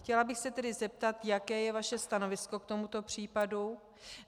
Chtěla bych se tedy zeptat, jaké je vaše stanovisko k tomuto případu.